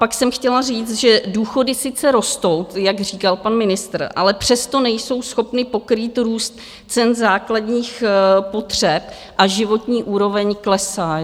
Pak jsem chtěla říct, že důchody sice rostou, jak říkal pan ministr, ale přesto nejsou schopny pokrýt růst cen základních potřeb a životní úroveň klesá.